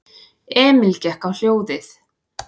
Emil gekk á hljóðið.